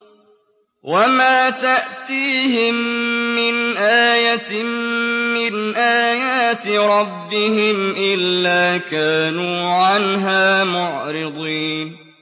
وَمَا تَأْتِيهِم مِّنْ آيَةٍ مِّنْ آيَاتِ رَبِّهِمْ إِلَّا كَانُوا عَنْهَا مُعْرِضِينَ